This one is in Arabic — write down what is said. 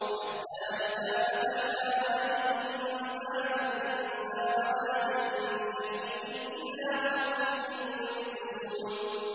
حَتَّىٰ إِذَا فَتَحْنَا عَلَيْهِم بَابًا ذَا عَذَابٍ شَدِيدٍ إِذَا هُمْ فِيهِ مُبْلِسُونَ